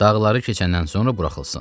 Dağları keçəndən sonra buraxılsın.